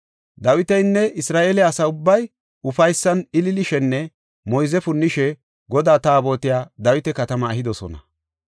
Dawitinne Isra7eele asa ubbay ufaysan ililishenne moyze punnishe Godaa Taabotiya Dawita Katama ehidosona.